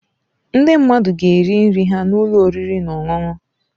Ndị mmadụ ga-eri nri ha na ụlọ oriri na ọṅụṅụ.